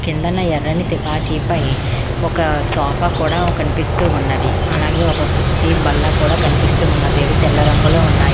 కిందన ఎర్రని తివాచీపై ఒక సోఫా కూడా కనిపిస్తూ ఉన్నది అలాగే ఒక కుర్చీ బల్ల కూడా కనిపిస్తూ ఉన్నది అవి తెల్ల రంగులో ఉన్నాయి.